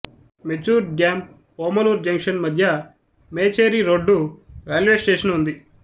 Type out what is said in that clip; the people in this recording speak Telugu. మెచూర్ డ్యామ్ ఓమలూర్ జంక్షన్ మధ్య మేచేరి రోడ్డు రైల్వే స్టేషను ఉంది